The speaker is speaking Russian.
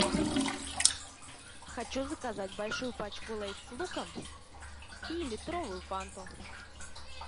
хочу заказать большую пачку лейс с луком и литровую фанту